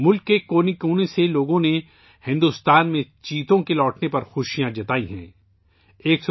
بھارت میں چیتوں کی واپسی پر ملک کے کونے کونے سے لوگوں نے خوشی کا اظہار کیا ہے